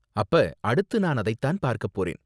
அப்ப அடுத்து நான் அதை தான் பார்க்க போறேன்.